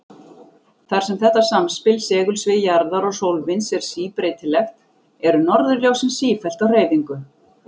Þar sem þetta samspil segulsviðs jarðar og sólvinds er síbreytilegt, eru norðurljósin sífellt á hreyfingu.